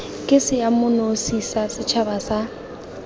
ke seemanosi sa setšhaba sa